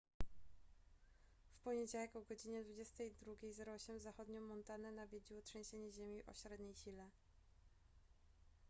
w poniedziałek o godz 22:08 zachodnią montanę nawiedziło trzęsienie ziemi o średniej sile